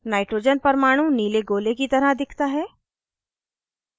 nitrogen परमाणु नीले गोले की तरह दिखता है